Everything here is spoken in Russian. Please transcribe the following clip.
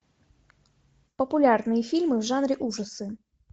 популярные фильмы в жанре ужасы